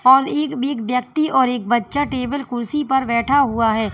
और एक एक व्यक्ति और एक बच्चा टेबल कुर्सी पर बैठा हुआ है।